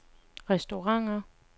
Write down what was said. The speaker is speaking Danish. restauranter